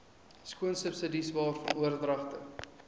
skoolsubsidies waarvan oordragte